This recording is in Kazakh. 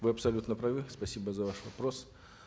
вы абсолютно правы спасибо за ваш вопрос